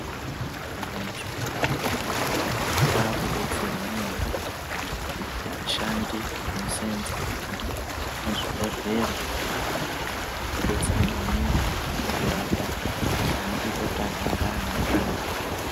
Antu muzvipatara, aakudetserwa nyore, ngekuti ashandi anoseenza muzvibhodhlera, odetsera maningi kukurapa, nemukuita maningi kuti anhu agare aine utano.